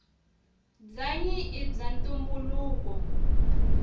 bwanyi ibwaantumbuluko